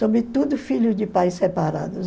Sobretudo filhos de pais separados.